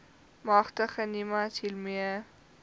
magtig nimas hiermee